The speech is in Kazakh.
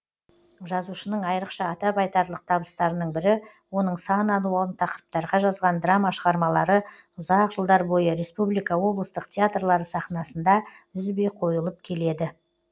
жазушының айрықша атап айтарлық табыстарының бірі оның сан алуан тақырыптарға жазған драма шығармалары ұзақ жылдар бойы республика облыстық театрлары сахнасында үзбей қойылып келеді